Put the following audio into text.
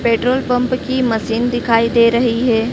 Petrol pump की machine दिखाई दे रही है।